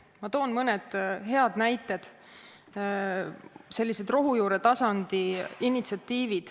Ma toon mõne hea näite, sellise rohujuuretasandi initsiatiivi.